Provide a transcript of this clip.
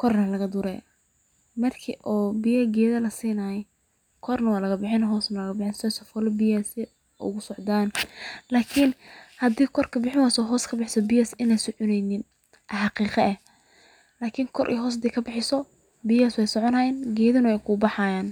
kor iyo hoos lagadure sii ey uscodan oo hda koor bees kadurto in ey biyaha soconi wayan aya xaqiq eh lakin hda kor iyo hoos kadurto wey soconayin.